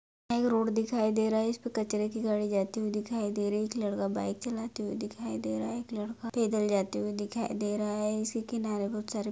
एक रोड दिखाई दे रहा है इसपे कचरे की गाड़ी जाती हुई दिखाई दे रही है एक लड़का बाइक चलाते हुए दिखाई दे रहा हैं एक लड़का पैदल जाते हुए दिखाई दे रहा हैइसी किनारे बहुत सारे--